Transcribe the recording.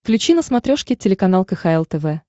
включи на смотрешке телеканал кхл тв